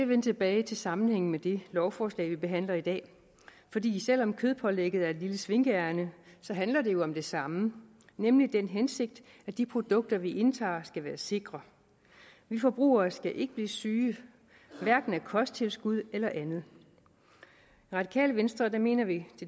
vende tilbage til sammenhængen med det lovforslag vi behandler i dag selv om kødpålægget er et lille svinkeærinde handler det jo om det samme nemlig den hensigt at de produkter vi indtager skal være sikre vi forbrugere skal ikke blive syge hverken af kosttilskud eller andet i radikale venstre mener vi